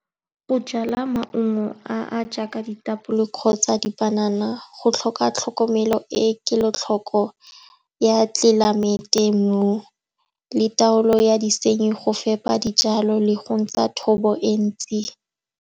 Go jala maungo a a jaaka ditapole kgotsa dipanana go tlhoka tlhokomelo e e kelotlhoko ya tlelaemete, mo le taolo ya disenyi, go fepa dijalo le go ntsha thobo e ntsi.